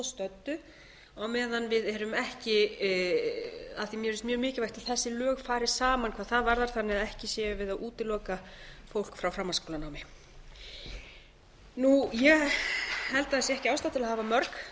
stöddu á meðan við erum ekki af því að mér finnst mjög mikilvægt að þessi lög fari saman hvað það varðar þannig að ekki séum við að útiloka frá framhaldsskólanámi ég held að það sé ekki ástæða til að hafa mörg